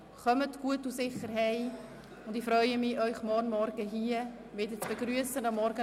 Ich wünsche Ihnen eine gute Heimreise und freue mich, Sie morgen um 09.00 Uhr wieder hier begrüssen zu dürfen.